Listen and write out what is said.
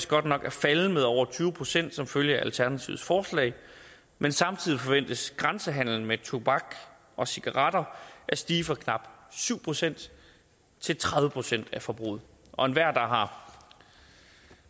godt nok at falde med over tyve procent som følge af alternativets forslag men samtidig forventes grænsehandelen med tobak og cigaretter at stige fra knap syv procent til tredive procent af forbruget og enhver der har